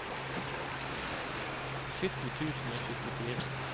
sytti tusen og syttifire